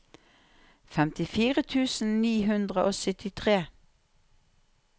femtifire tusen ni hundre og syttitre